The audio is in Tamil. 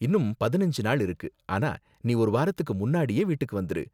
இன்னும் பதினஞ்சு நாள் இருக்கு, ஆனா நீ ஒரு வாரத்துக்கு முன்னாடியே வீட்டுக்கு வந்துரு.